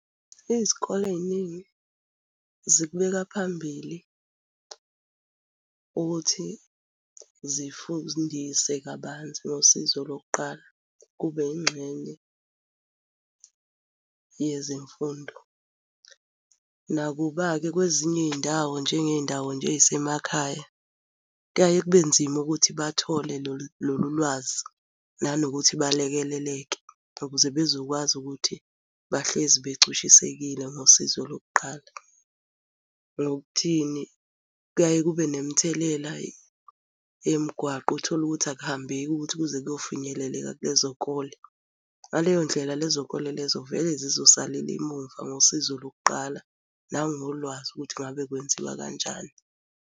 Izikole ey'ningi zikubeka phambili ukuthi zifundise kabanzi ngosizo lokuqala, kube yingxenye yezemfundo. Nakuba-ke kwezinye iy'ndawo njengey'ndawo nje ey'semakhaya, kuyaye kube nzima ukuthi bathole lolu lwazi, nanokuthi balekeleleke ukuze bezokwazi ukuthi bahlezi becushisekile ngosizo lokuqala. Ngokuthini? Kuyaye kube nemithelela yemgwaqo uthole ukuthi akuhambeki ukuthi kuze kuyofinyeleleka kulezo kole. Ngaleyo ndlela lezo kole lezo vele zizosalela emuva ngosizo lokuqala nangolwazi ukuthi ngabe kwenziwa kanjani.